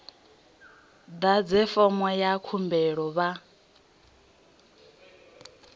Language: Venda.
ḓadze fomo ya khumbelo vha